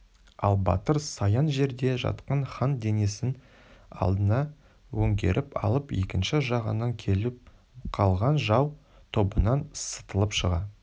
ал батыр саян жерде жатқан хан денесін алдына өңгеріп алып екінші жағынан келіп қалған жау тобынан сытылып шыға